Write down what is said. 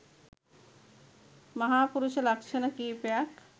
මහාපුරුෂ ලක්ෂණ කීපයක්